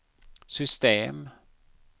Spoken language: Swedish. system